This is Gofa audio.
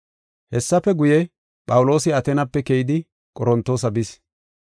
Hessafe guye, Phawuloosi Ateenape keyidi, Qorontoosa bis.